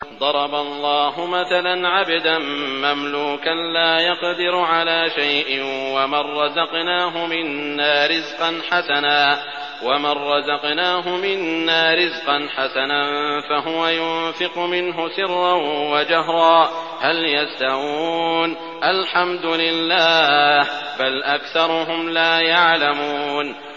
۞ ضَرَبَ اللَّهُ مَثَلًا عَبْدًا مَّمْلُوكًا لَّا يَقْدِرُ عَلَىٰ شَيْءٍ وَمَن رَّزَقْنَاهُ مِنَّا رِزْقًا حَسَنًا فَهُوَ يُنفِقُ مِنْهُ سِرًّا وَجَهْرًا ۖ هَلْ يَسْتَوُونَ ۚ الْحَمْدُ لِلَّهِ ۚ بَلْ أَكْثَرُهُمْ لَا يَعْلَمُونَ